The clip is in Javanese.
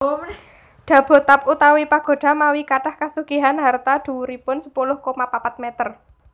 Dabotab utawi Pagoda mawi kathah kasugihan harta dhuwuripun sepuluh koma papat meter